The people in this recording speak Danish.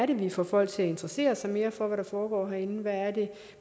vi får folk til at interessere sig mere for hvad der foregår herinde